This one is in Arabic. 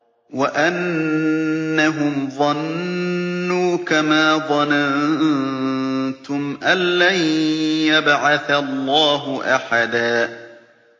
وَأَنَّهُمْ ظَنُّوا كَمَا ظَنَنتُمْ أَن لَّن يَبْعَثَ اللَّهُ أَحَدًا